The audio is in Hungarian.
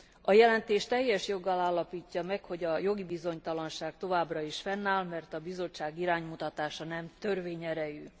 A jelentés teljes joggal állapítja meg, hogy a jogi bizonytalanság továbbra is fennáll, mert a Bizottság iránymutatása nem törvényerejű.